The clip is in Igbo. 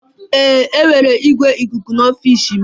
Ee, enwere ikuku ikuku n'ọfịs m.